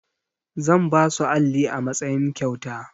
Zan ba su alli a matsayin kyauta.